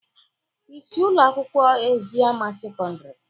Ị si Ụlọ akwụkwọ Eziama sekọndrị